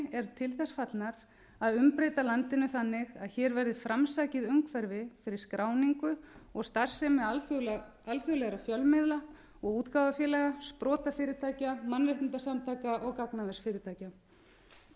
eru til þess fallnar að umbreyta landinu þannig að hér verði framsækið umhverfi fyrir skráningu og starfsemi alþjóðlegra fjölmiðla og útgáfufélaga sprotafyrirtækja mannréttindasamtaka og gagnaversfyrirtækja